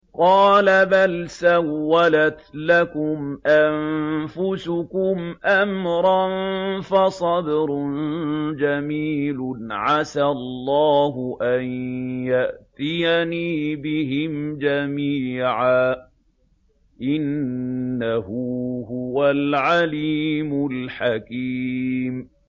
قَالَ بَلْ سَوَّلَتْ لَكُمْ أَنفُسُكُمْ أَمْرًا ۖ فَصَبْرٌ جَمِيلٌ ۖ عَسَى اللَّهُ أَن يَأْتِيَنِي بِهِمْ جَمِيعًا ۚ إِنَّهُ هُوَ الْعَلِيمُ الْحَكِيمُ